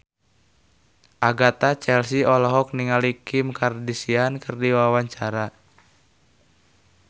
Agatha Chelsea olohok ningali Kim Kardashian keur diwawancara